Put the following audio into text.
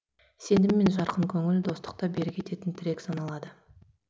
сенім мен жарқын көңіл достықты берік ететін тірек саналады